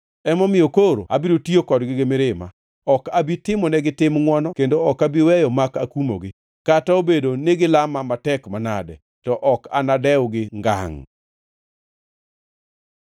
Emomiyo koro abiro tiyo kodgi gi mirima. Ok abi timonegi tim ngʼwono kendo ok abi weyo mak akumogi. Kata obedo ni gilama matek manade, to ok anadewgi ngangʼ!”